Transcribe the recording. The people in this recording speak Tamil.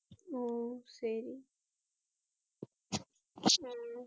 ஒ சரி